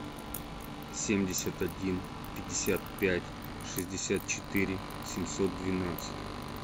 семьдесят один пятьдесят пять шестьдесят четыре семьсот двенадцать